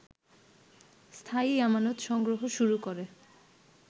স্থায়ী আমানত সংগ্রহ শুরু করে